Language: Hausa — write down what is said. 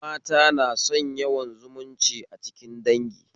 Mata na son yawan zumunci a cikin dangi